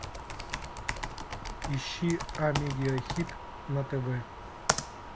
ищи амедиа хит на тв